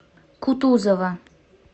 кутузова